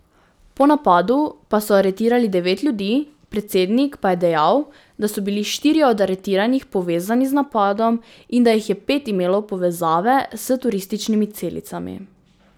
Po napadu pa so aretirali devet ljudi, predsednik pa je dejal, da so bili štirje od aretiranih povezani z napadom in da jih je pet imelo povezave s turističnimi celicami.